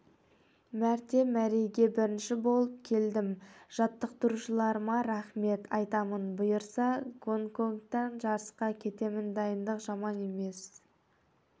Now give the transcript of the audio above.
мәрте мәреге бірінші болып келдім жаттықтырушыларыма рахмет айтамын бұйырса гонконгқа жарысқа кетемін дайындық жаман емес